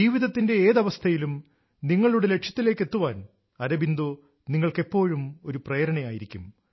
ജീവിതത്തിന്റെ ഏത് അവസ്ഥയിലും നിങ്ങളുടെ ലക്ഷ്യത്തിലേക്കെത്താൻ അരബിന്ദോ നിങ്ങൾക്കെപ്പോഴും ഒരു പ്രേരണയായിരിക്കും